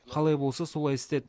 қалай болса солай істеді